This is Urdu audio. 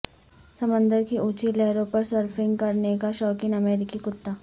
سمندر کی اونچی لہروں پرسرفنگ کرنے کا شوقین امریکی کتا